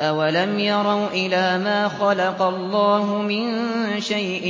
أَوَلَمْ يَرَوْا إِلَىٰ مَا خَلَقَ اللَّهُ مِن شَيْءٍ